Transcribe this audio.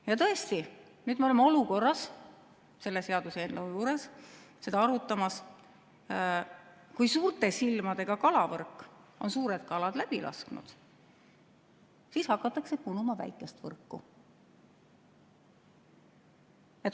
Ja tõesti, nüüd me oleme selle seaduseelnõu puhul arutamas, et kui suurte silmadega kalavõrk on suured kalad läbi lasknud, siis hakatakse punuma väikest võrku.